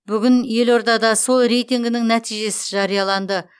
бүгін елордада сол рейтингінің нәтижесі жарияланды